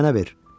Əlini mənə ver.